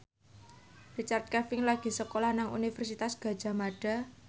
Richard Kevin lagi sekolah nang Universitas Gadjah Mada